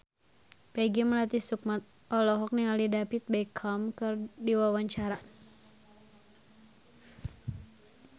Peggy Melati Sukma olohok ningali David Beckham keur diwawancara